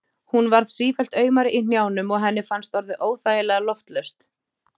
Hún varð sífellt aumari í hnjánum og henni fannst orðið óþægilega loftlaust.